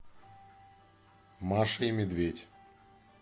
маша и медведь